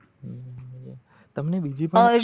તમને બીજી